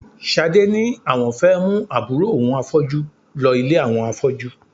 Ṣadé ni àwọn fẹ́ mú àbúrò òun afọ́jú lọ ilé àwọn afọ́jú